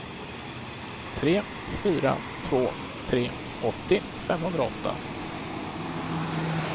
tre fyra två tre åttio femhundraåtta